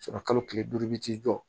kalo tile duuru i bɛ t'i jɔ